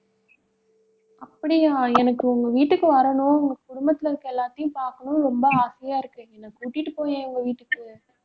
அப்படியா எனக்கு உங்க வீட்டுக்கு வரணும். உங்க குடும்பத்தில இருக்கிற எல்லாத்தையும் பார்க்கணும்ன்னு ரொம்ப ஆசையா இருக்கு என்ன கூட்டிட்டு போயேன் உங்க வீட்டுக்கு